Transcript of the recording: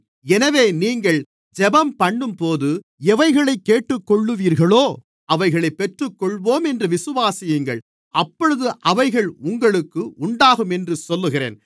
எனவே நீங்கள் ஜெபம்பண்ணும்போது எவைகளைக் கேட்டுக்கொள்ளுவீர்களோ அவைகளைப் பெற்றுக்கொள்வோம் என்று விசுவாசியுங்கள் அப்பொழுது அவைகள் உங்களுக்கு உண்டாகும் என்று சொல்லுகிறேன்